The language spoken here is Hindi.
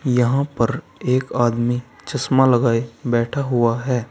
यहां पर एक आदमी चश्मा लगाए बैठा हुआ है।